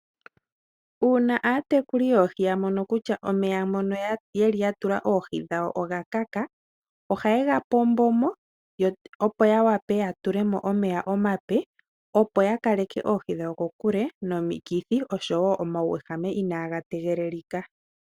Uuna aatekuli yoohi yamono kutya omeya mono yeli yatula oohi dhawo ogakaka, ohaye gapombo mo yo opo yawape yatule mo omeya omape, opo yakaleke oohi dhawo kokule nomikithi oshowo omauwehame inaaga tegelelika.